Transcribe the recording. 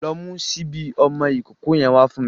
Lọ mu ṣíbí ọmọ ìkókó yẹn wá fún me.